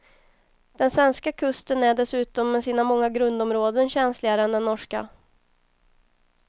Den svenska kusten är dessutom med sina många grundområden känsligare än den norska.